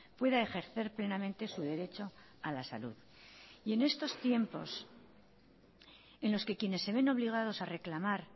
pueda ejercer plenamente su derecho a la salud y en estos tiempo en los que quienes se ven obligados a reclamar